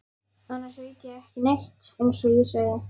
Annars veit ég ekki neitt eins og ég segi.